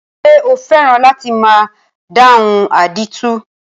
Ṣé o fẹ́ràn láti máa dáhùn àdìtú?